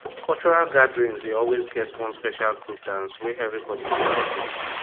cultural gatherings dey always get one special group dance wey everybody dey like watch